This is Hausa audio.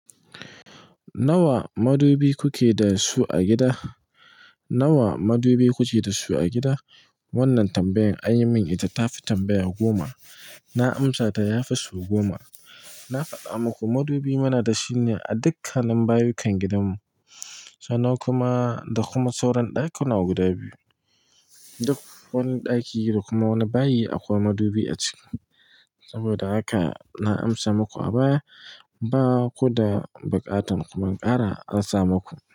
Nawa madubi kuke da su a gida? Nawa madubi kuke da su a gida? Wannan tambayan, anyi min ita tafi tambaya goma. Na amsata yafi so goma. Na faɗa muku madubi muna dashi ne a dukkanin bayukan gidanmu, sannan kuma da kuma sauran ɗakuna guda biyu. Duk wani ɗaki da kuma wani bayi akwai madubi a ciki. Saboda haka na amsa muku a baya, bakuda buƙatan kuma ƙara rasa muku.